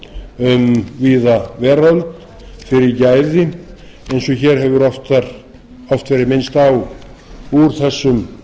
athygli um víða veröld fyrir gæði eins og hér hefur oft verið minnst á úr þessum